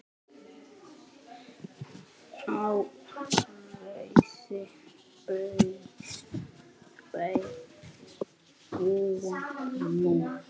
Á Garði búa nú